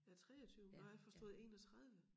Ja 23 nej jeg forstod 31